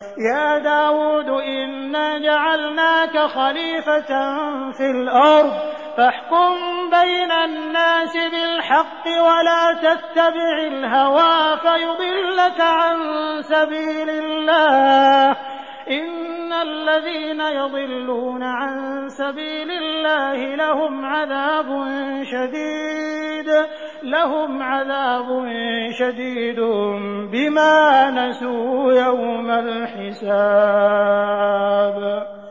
يَا دَاوُودُ إِنَّا جَعَلْنَاكَ خَلِيفَةً فِي الْأَرْضِ فَاحْكُم بَيْنَ النَّاسِ بِالْحَقِّ وَلَا تَتَّبِعِ الْهَوَىٰ فَيُضِلَّكَ عَن سَبِيلِ اللَّهِ ۚ إِنَّ الَّذِينَ يَضِلُّونَ عَن سَبِيلِ اللَّهِ لَهُمْ عَذَابٌ شَدِيدٌ بِمَا نَسُوا يَوْمَ الْحِسَابِ